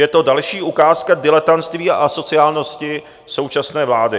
Je to další ukázka diletantství a asociálnosti současné vlády.